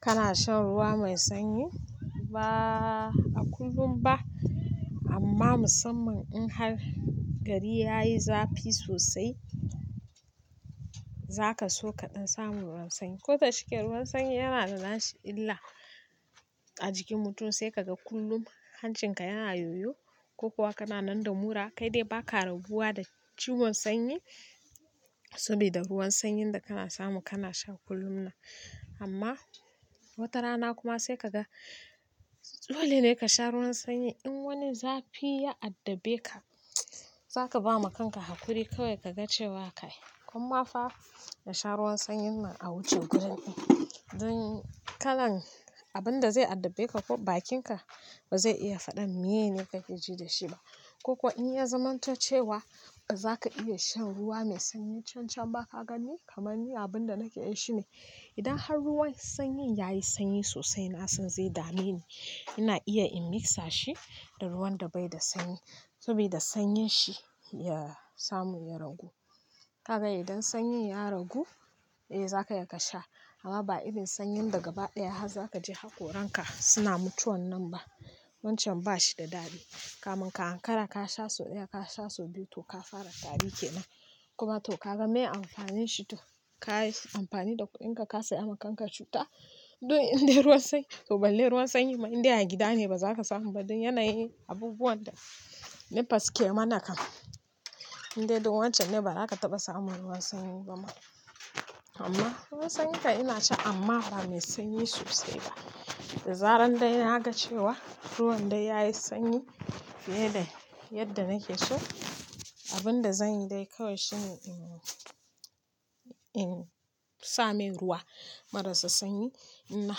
Kana shan ruwa mai sanyi? Ba kullum ba amma musamman in har gari yayi zafi sosai, zaka so kaɗan samu ruwan sanyi. Ko da shike ruwan sanyi yana da dashi illa a jikin mutum sai kaga kullum hancinka yana yoyo ko kuwa kana nan da mura kai dai baka rabuwa da ciwon sanyi saboda ruwan sanyin da kana samu kana sha kullum nan. Amma watarana kuma sai kaga dole ne ka sha ruwan sanyi in wani zafi ya addabe ka zaka ba ma kanka hakuri kawai kaga cewa kai. Kuma fa ka sha ruwan sanyin nan a waje gudan in don kalan abinda zai addabe ka ko bakinka ba zai iya faɗan meye ne kake ji da shi ba. Ko kuwa in ya zamanto cewa ba zaka iya shan ruwa mai sanyi can can ba kaganni kamar ni abunda nake yi shine idan har ruwan sanyin yayi sanyi sosai nasan zai dame ni ina iya in misa shi da ruwan da bai da sanyi saboda sanyin shi ya samu ya ragu. Ka ga idan sanyin ya ragu eh zakayi ka sha amma ba irin sanyin daga baya haka zakaje haƙoran ka suna mutuwan nan ba. Wancan bashi da dadi kaman ka hankara ka sha sau ɗaya ka sha sau biyu to ka fara tari kenan kuma to kaga meye amfanin shi din to kayi amfani da kuɗinka ka saya ma kanka cuta don in dai ruwan sanyi to balle ruwan sanyi ma in dai a gida ne bazaka samu ba don yanayi abubuwan da NEPA suke mana kam. In dai don wancan ne bazaka taɓa samu ruwan sanyi ba ma. Amma ruwan sanyi kai ina sha amma ba mai sanyi sosai ba. Da zaran dai naga cewa ruwan dai yayi sanyi fiye da yadda nake so abinda zanyi dai kawai shine in same ruwa marasa sanyi in na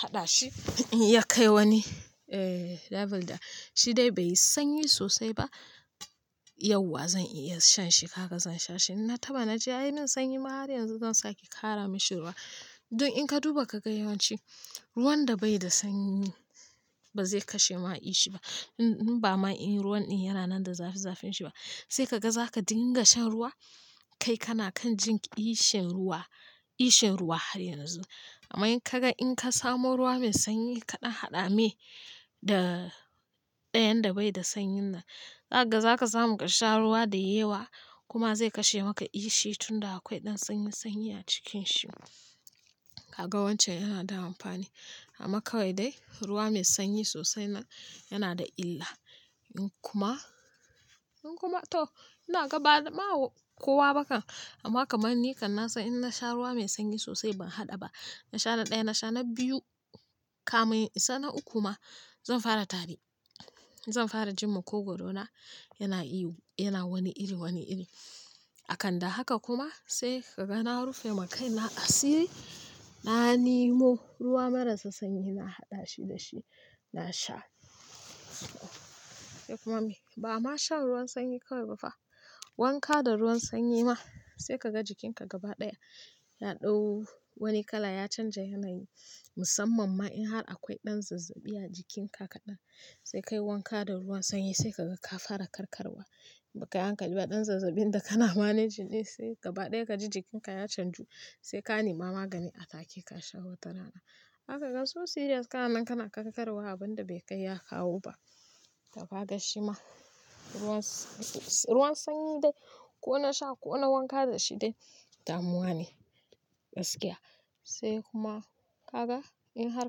haɗa shi ya kai wani level da shi dai bai yi sanyi sosai ba yauwa zan iya shan shi. Haka zan sha shi. Na taɓa na ji ai sanyi ma har yanzu zan sa ke ƙara mashi ruwa don in ka duba kagai yawanci ruwan da bai da sanyi bazai kashe ma ishi ba in ba ma in ruwan in yana nan da zafi zafin shi ba. Sai kaga zaka dinga shan ruwa kai kana kan jin ishin ruwa, ishin ruwa har yanzu. Amma in kaga in ka samu ruwa mai sanyi kaɗan haɗa me da ɗayan da bai da sanyin nan zaga za ka samu ka sha ruwa da yewa kuma zai kashe maka ishin tunda akwai ɗan sanyi sanyi a cikin shi. Kaga wancan yana da amfani amma kawai dai ruwa mai sanyi sosai na yana da illa. In kuma, in kuma to ina gaba da ma kowa bakan amma kamar ni kan nasa in na sha ruwa mai sanyi sosai ban haɗa ba na sha na ɗaya na sha na biyu kama in isa na uku ma zan fara tari. Zan fara jin makogoro na yana ihu yana wani iri wani iri. A kanda haka kuma sai kagana rufe ma kai na asiri na nemo ruwa marasa sanyi na haɗa shi da shi na sha. ba ma shan ruwan sanyi kawai ba fa. Wanka da ruwan sanyi ma sai kaga jikinka gaba ɗaya ya ɗau wani kala ya canja yanayi musamman ma in har akwai ɗan zazzaɓi a jikinka kaɗan sai kai wanka da ruwan sanyi sai kaga ka fara karkarwa. Ba kai hankali ba ɗan zazzaɓin da kana managing ne sai gaba ɗaya kaji jikinka ya canju sai ka nema magani a ɗakin ka sha watarana. Zaka gan so serious kana nan kana karantarwa abunda bai kai ya kawo ba. Tafa da shi ma. Ruwan, ruwan sanyi dai ko na sha ko na wanka da shi dai damuwa ne, gaskiya. Sai kuma kaga in har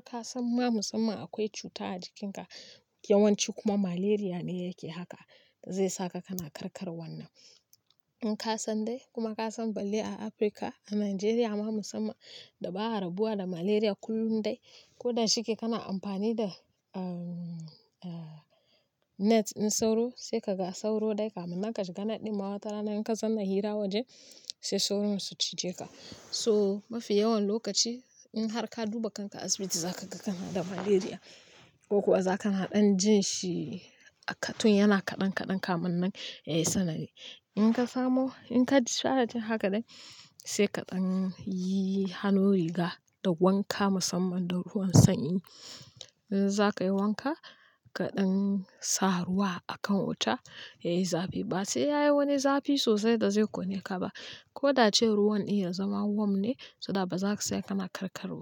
ka san ma musamman akwai cuta a jikinka yawanci kuma malaria ne yake haka zai saka kana karkarwan nan. In ka san dai kuma ka san balle a Africa, a Nigeria ma musamman dabarar rabuwa da malaria kullum dai ko da shike kana amfani da, um, net ɗin sauro, sai kaga sauro dai kafin ma ka shiga net ɗin ma wata rana idan ka zauna hira waje sai sauron su cije ka. So, mafi yawan lokaci in har ka duba kanka asibiti za ka ga kana da malaria ko kuwa za ka na ɗan jin shi a katun yana kaɗan-kaɗan kafin yayi sanadi in ka samu, in ka discharge haka dai sai kaɗan yi hannu riga da wanka musamman da ruwan sanyi. Zaka yi wanka ka ɗan sa ruwa a kan wuta yayi zafi ba sai yayi wani zafi sosai da zai ƙone ka ba. Ko da ce ruwan in ya zama warm ne so that bazaka tsaya kana karkarwa.